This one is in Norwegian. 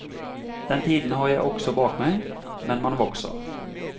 Den tiden har jeg også bak meg, men man vokser.